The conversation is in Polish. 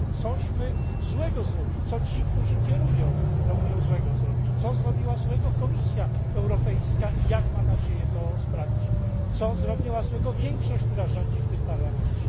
Co myśmy złego zrobili, co ci, którzy kierują tą Unią, złego zrobili, co zrobiła złego Komisja Europejska i jak ma nadzieję to naprawić, co zrobiła złego większość, która rządzi w tym Parlamencie?